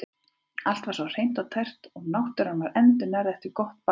Allt var svo hreint og tært eins og náttúran væri endurnærð eftir gott bað.